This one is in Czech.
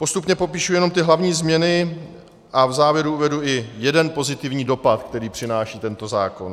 Postupně popíšu jenom ty hlavní změny a v závěru uvedu i jeden pozitivní dopad, který přináší tento zákon.